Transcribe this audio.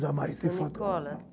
jamais. Seu nicola